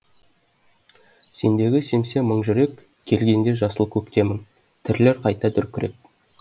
сендегі семсе мың жұрек келгенде жасыл көктемің тірілер қайта дүркіреп